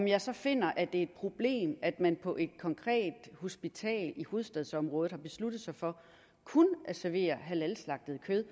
jeg så finder at det er et problem at man på et konkret hospital i hovedstadsområdet har besluttet sig for kun at servere halalslagtet kød